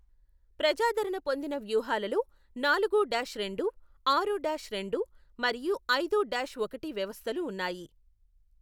ప్రజాదరణ పొందిన వ్యూహాలలో నాలుగు డాష్ రెండు, ఆరు డాష్ రెండు, మరియు ఐదు డాష్ ఒకటి వ్యవస్థలు ఉన్నాయి.